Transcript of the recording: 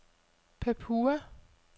Papua